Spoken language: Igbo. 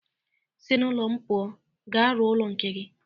Si n'ụlọ m pụọ! Ga rụọ ụlọ nke gi